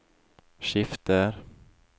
skifter